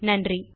நன்றி